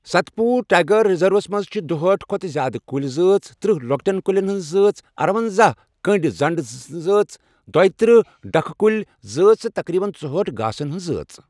ست پوٗر tiger reserves منٛز چھِ دُہاٹھ کھۄتہٕ زِیٛادٕ کُلۍ زٲژ، تٔرہ لۄکٔٹٮ۪ن کُلٮ۪ن ہٕنٛز زٲژ، ارۄنزاہ کٔنٛڑۍ زنٛڑ کُلٮ۪ن ہٕنٛز زٲژ، دۄیترہ ڈکھٕ کُلۍ زٲژ تہٕ تقریباً ژُہاٹھ گاسَن ہٕنٛز زٲژ۔